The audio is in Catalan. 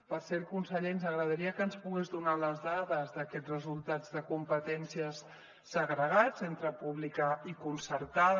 per cert conseller ens agradaria que ens pogués donar les dades d’aquests resultats de competències segregats entre pública i concertada